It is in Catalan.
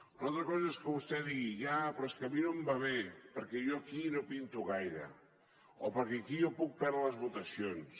una altra cosa és que vostè digui ja però és que a mi no em va bé perquè jo aquí no hi pinto gaire o perquè aquí jo puc perdre les votacions